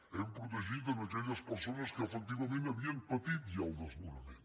hem protegit aquelles persones que efectivament havien patit ja el desnonament